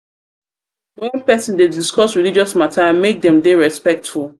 when person dey discuss religious matter make dem dey respectful